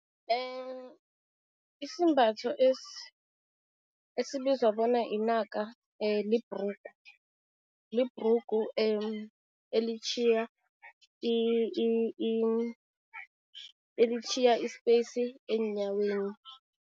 isembatho esibizwa bona inaka libhrugu, libhrugu elitjhiya elitjhiya i-space eenyaweni.